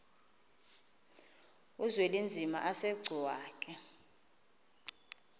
uzwelinzima asegcuwa ke